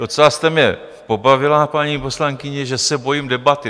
Docela jste mě pobavila, paní poslankyně, že se bojím debaty.